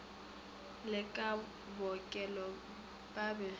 le ba bookelo ba be